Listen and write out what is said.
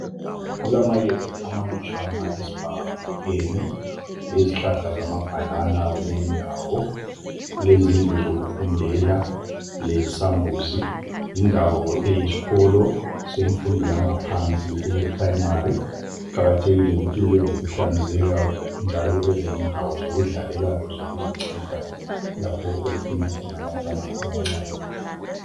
Kulamayezi amalutshwana esibhakabhakeni lezihlahla zamabhanana kule indawo. Kulezindlu zokufundela, lesambuzi. Yindawo eyisikolo semfundo yangaphansi eyePrimary. Kuqakathekile ukuthi kube lokuhlanzeka njalo kube lendawo zokudlalela lezokuzinceda lapho okufunda abantwana abancane.